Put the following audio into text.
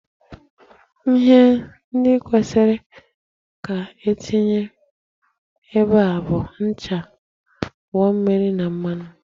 Ihe ndị kwesịrị ka e tinye ebe a bụ ncha, ogbo na mmanụ.